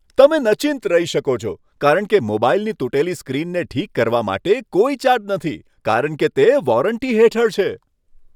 તમે નચિંત રહી શકો છો કારણ કે મોબાઈલની તૂટેલી સ્ક્રીનને ઠીક કરવા માટે કોઈ ચાર્જ નથી, કારણ કે તે વોરંટી હેઠળ છે.